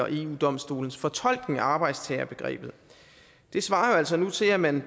og eu domstolens fortolkning af arbejdstagerbegrebet det svarer altså nu til at man